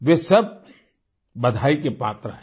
वे सब बधाई के पात्र हैं